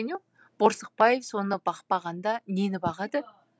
борсықбаев соны бақпағанда нені бағады